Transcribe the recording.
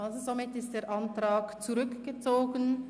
Somit ist also der Antrag von der GPK zurückgezogen.